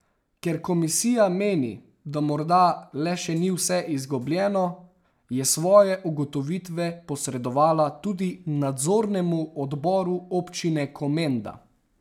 Ker komisija meni, da morda le še ni vse izgubljeno, je svoje ugotovitve posredovala tudi nadzornemu odboru občine Komenda.